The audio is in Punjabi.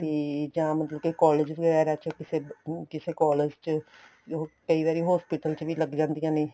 ਤੇ ਜਾਂ ਮਤਲਬ ਕੇ collage ਵਗੈਰਾ ਚ ਕਿਸੇ collage ਚ ਜੋ ਕਈ ਵਾਰੀ hospital ਚ ਵੀ ਲੱਗ ਜਾਂਦੀਆਂ ਨੇ